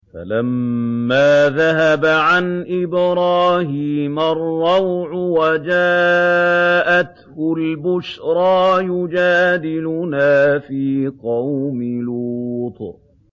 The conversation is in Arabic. فَلَمَّا ذَهَبَ عَنْ إِبْرَاهِيمَ الرَّوْعُ وَجَاءَتْهُ الْبُشْرَىٰ يُجَادِلُنَا فِي قَوْمِ لُوطٍ